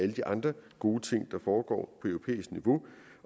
de andre gode ting der foregår